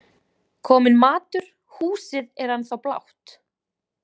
Kominn matur Húsið er ennþá blátt.